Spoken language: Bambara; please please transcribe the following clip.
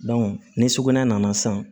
ni sugunɛ nana san